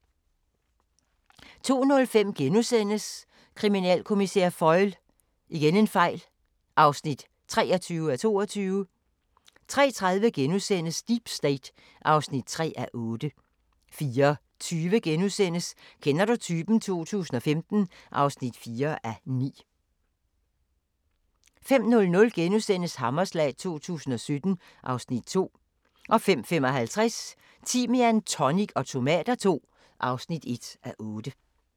02:05: Kriminalkommissær Foyle (23:22)* 03:30: Deep State (3:8)* 04:20: Kender du typen? 2015 (4:9)* 05:00: Hammerslag 2017 (Afs. 2)* 05:55: Timian, tonic og tomater II (1:8)